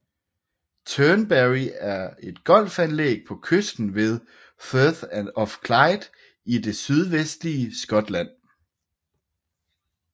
Turnberry er et golfanlæg på kysten ved Firth of Clyde i det sydvestlige Skotland